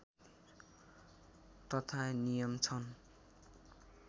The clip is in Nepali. तथा नियम छन्